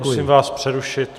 Musím vás přerušit.